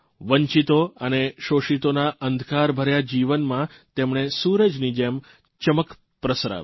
વંચિતો અને શોષિતોના અંધકારભર્યા જીવનમાં તેમણે સૂરજની જેમ ચમક પ્રસરાવી